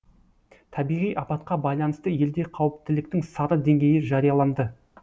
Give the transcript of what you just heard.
табиғи апатқа байланысты елде қауіптіліктің сары деңгейі жарияланды